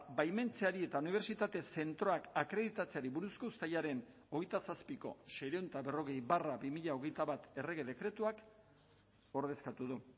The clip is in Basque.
baimentzeari eta unibertsitate zentroak akreditatzeari buruzko uztailaren hogeita zazpiko seiehun eta berrogei barra bi mila hogeita bat errege dekretuak ordezkatu du